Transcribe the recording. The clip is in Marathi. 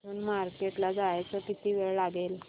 इथून मार्केट ला जायला किती वेळ लागेल